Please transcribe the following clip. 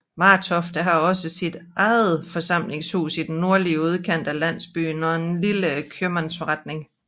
Martofte har også sit eget forsamlingshus i den nordlige udkant af landsbyen og en lille købmandsforretning